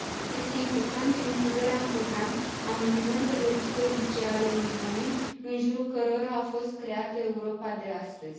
Este importantă includerea în program a monumentelor istorice ale Uniunii în jurul cărora a fost creată Europa de astăzi.